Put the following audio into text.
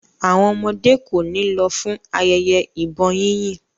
Àwọn ọmọdé kò ní lọ fún ayẹyẹ ìbọn yínyìn.